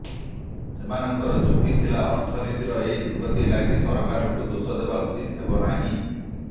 ସେମାନଙ୍କର ଯୁକ୍ତି ଥିଲା ଅର୍ଥନୀତିର ଏହି ଦୁର୍ଗତି ଲାଗି ସରକାରଙ୍କୁ ଦୋଷ ଦେବା ଉଚିତ ହେବନାହିଁ